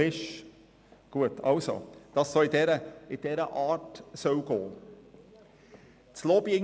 Es hiess, dass es in diese Richtung gehen müsse.